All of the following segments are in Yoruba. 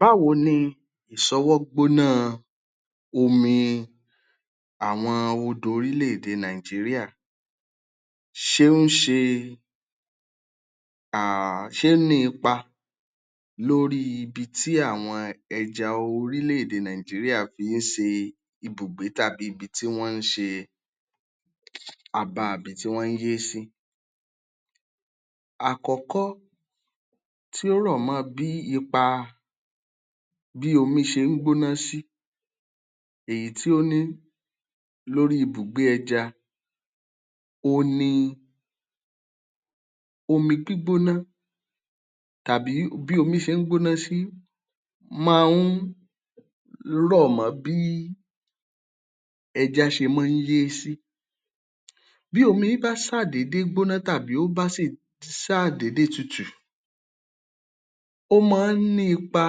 Báwo ni ìṣọwọ́ gbóná omi àwọn odò orílẹ̀-èdè Nàìjíríà? Ṣé ó ń ṣe, ah um ṣé ó ní ipa lórí ibi tí àwọn ẹja orílẹ̀-èdè Nàìjíríà fi ń ṣe ibùgbé tàbí ibi tí wọ́n ń ṣe àba àbí ibi tí wọ́n ń yé sí? Àkọ́kọ́ tí ó rọ̀ mọ́ bí ipa bí omi ṣe ń gbóná sí, èyí tí ó ní lórí ibùgbé ẹja. Òhun ni omi gbígbóná tàbí bí omi ṣe ń gbóná sí máa ń rọ̀ mọ́ bí ẹja ṣe máa ń yé sí. Bí omi bá ṣàdéédé gbóná tàbí ó bá ṣàdéédéé tutu, ó máa ń ní ipa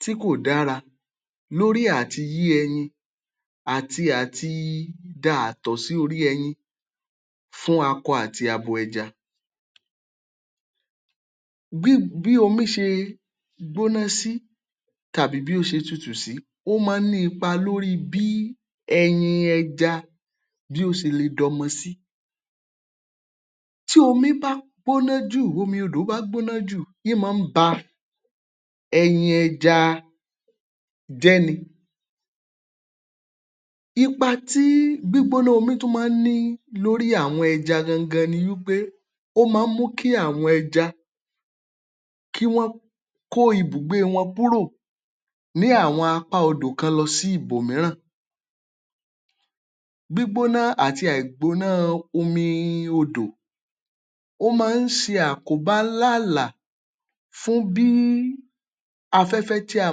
tí kò dára lórí àti yé ẹyin àti àti da àtọ̀ sí orí ẹyin fún akọ àti abo ẹja. Bí bi um omi ṣe gbóná sí tàbí bí ó ṣe tutu sí, ó máa ń ní ipa lórí bí ẹyin ẹja bí ó ṣe le dọmọ sí. Tí omi bá gbóná jù, omi odò bá gbóná jù, ín máa ń bá ẹyin ẹja jẹ́ ni. Ipa tí gbígbóná omi tún máa ní lórí àwọn ẹja gan-an gan-an ni wí pé, ó máa ń mú kí àwọn ẹja, kí wọ́n kó ibùgbé wọn kúrò ní àwọn apá odò kan lọ sí ibòmíràn. Gbígbóná àti àìgbóná omi odò, ó máa ń ṣe àkóbá ńlá ǹlà fún bí afẹ́fẹ́ tí a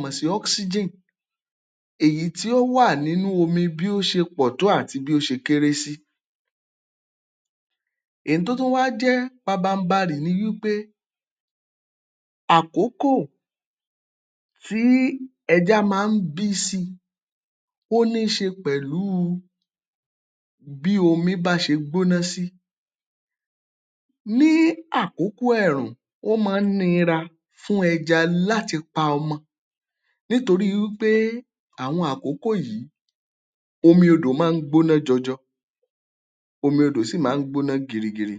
mọ̀ sí oxygen, èyí tí ó wà nínú omi bí ó ṣe pọ̀ tó àti bí ó ṣe kéré sí. Èyí tó tún wá jẹ́ pabambarì ni wí pé, àkókò tí ẹja máa ń bí sí i, ó ní í ṣe pẹ̀lú bí omi bá ṣe gbóná sí. Ní àkókò ẹ̀ẹ̀rùn, ó máa ń nira fún ẹja láti pa ọmọ nítorí wí pé àwọn àkókò yìí omi odò máa ń gbóná jọjọ, omi odò sì máa ń gbóná girigiri.